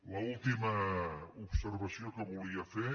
l’última observació que volia fer